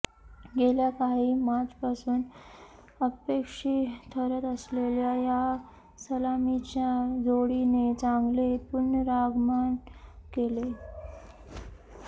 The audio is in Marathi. गेल्या काही मॅचपासून अपयशी ठरत असलेल्या या सलामीच्या जोडीने चांगले पुनरागमन केले